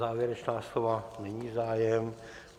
Závěrečná slova - není zájem.